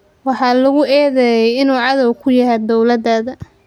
“Waxaa lagu eedeeyay inuu cadow ku yahay dowladda.